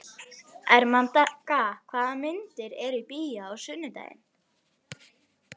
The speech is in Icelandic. Ermenga, hvaða myndir eru í bíó á sunnudaginn?